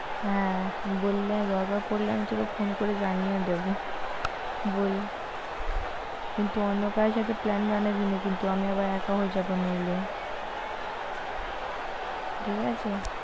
হ্যাঁ বললে দরকার পড়লে আমি তোকে ফোন করে জানিয়ে ও দেব বল কিন্তু অন্য কারও সাথে plan বানাবি না কিন্তু, আমি আবার একা হয়ে যাব নইলে ঠিক আছে।